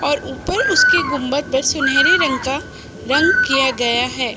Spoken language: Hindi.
और ऊपर उसके गुम्बद पर सुनहरे रंग का रंग किया गया है |